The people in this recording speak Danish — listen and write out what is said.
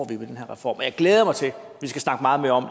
vi med den her reform jeg glæder mig til at vi skal snakke meget mere om